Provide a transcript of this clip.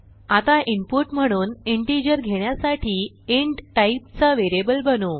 आता इनपुट म्हणून इंटिजर घेण्यासाठी इंट टाईपचा व्हेरिएबल बनवू